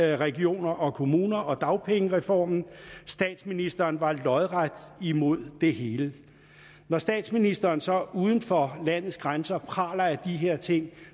regioner og kommuner og dagpengereformen statsministeren var lodret imod det hele når statsministeren så uden for landets grænser praler af de her ting